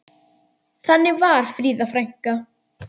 Þannig var Fríða frænka.